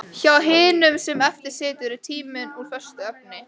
Hjá hinum sem eftir situr er tíminn úr föstu efni.